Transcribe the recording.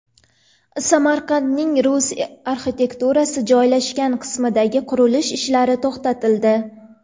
Samarqandning rus arxitekturasi joylashgan qismidagi qurilish ishlari to‘xtatildi.